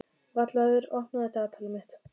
Vallaður, opnaðu dagatalið mitt.